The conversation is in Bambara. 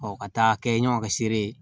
ka taa kɛ ɲɔgɔn ka seere ye